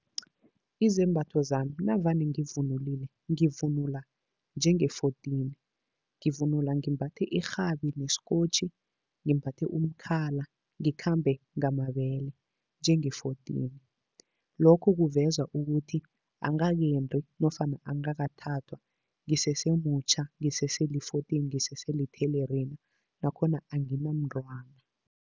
Izembatho zami navane ngivunulile, ngivunula njenge-fourteen. Ngivunula ngimbathe irhabi nesikokotjhi, ngimbathe umkhala, ngikhambe ngamabele njenge-fourteen. Lokhu kuveza ukuthi angakendi nofana angakathathwa, ngisesemutjha, ngiseseli-fourteen, ngiseselithelerina nakhona anginamntwana.